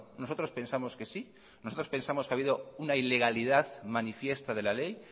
nosotros pensamos que sí nosotros pensamos que ha habido una ilegalidad manifiesta de la ley